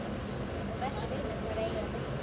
Og velti fyrir mér hvar eigi að byrja.